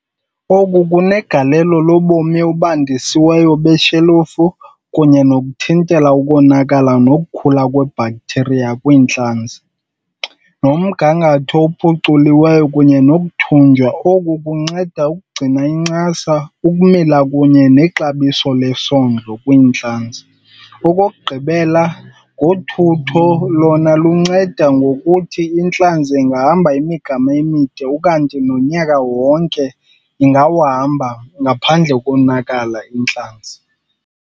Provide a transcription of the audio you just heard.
Oku kunegalelo lobomi obandisiweyo beshelufu kunye nokuthintela ukonakala nokukhula kwe-bacteria kwiintlanzi. Nomgangatho ophuculiweyo kunye , oku kunceda ukugcina incasa, ukumila kunye nexabiso lesondlo kwiintlanzi. Okokugqibela ngothutho, lona lunceda ngokuthi intlantsi engahamba imigama emide ukanti nonyaka wonke ingawuhamba ngaphandle konakala intlanzi.